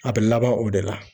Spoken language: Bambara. A be laban o de la.